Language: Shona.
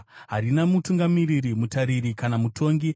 Harina mutungamiri, mutariri kana mutongi,